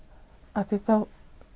af því þá